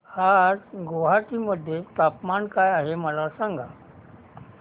आज गुवाहाटी मध्ये तापमान काय आहे मला सांगा